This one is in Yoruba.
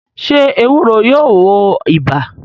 Sé ewúro yóò wo ibà?